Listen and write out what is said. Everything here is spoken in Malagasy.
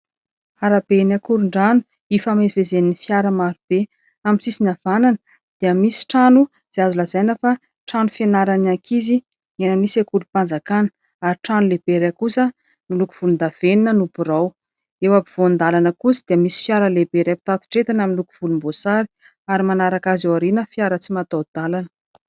Arabe eny Akorondrano ifamezivezen'ny fiara maro be. Amin'ny sisiny havanana dia misy trano izay azo lazaina fa trano fianaran'ny ankizy eny amin'ny sekolim-panjakana. Ary trano lehibe iray kosa miloko volondavenona no birao. Eo ampovoan-dalana kosa dia misy fiara lehibe iray mpitatitra entana miloko volomboasary, ary manaraka azy ao aoriana fiara tsy mataho-dalana.